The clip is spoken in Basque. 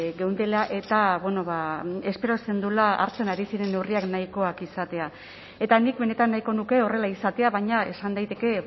geundela eta espero zenuela hartzen ari ziren neurriak nahikoak izatea eta nik benetan nahiko nuke horrela izatea baina esan daiteke